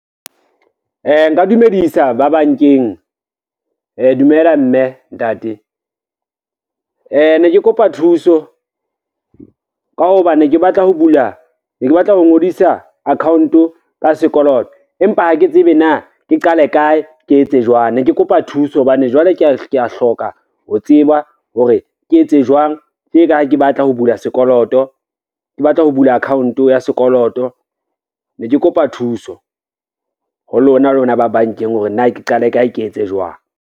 Nka dumedisa ba bankeng, dumela mme ntate. Ne ke kopa thuso ka hobane ne ke batla ho ngodisa account-o ka sekoloto empa ha ke tsebe na ke qale kae, ke etse jwang ne ke kopa thuso hobane jwale kea e hloka ho tseba hore ke etse jwang, tje ka ha ke batla ho bula account ya sekoloto ne ke kopa thuso ho lona, lona ba bankeng hore na ke qale kae, ke etse jwang.